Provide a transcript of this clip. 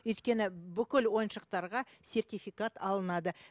өйткені бүкіл ойыншықтарға сертификат алынады